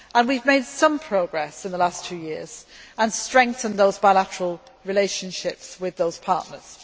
We have made some progress in the last two years and strengthened those bilateral relationships with those partners.